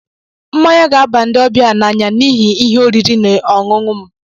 Mmanya ga-aba ndị ọbịa m n'anya na ihe oriri na ọṅụṅụ m.